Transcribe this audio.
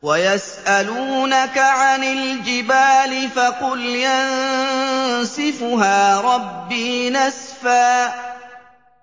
وَيَسْأَلُونَكَ عَنِ الْجِبَالِ فَقُلْ يَنسِفُهَا رَبِّي نَسْفًا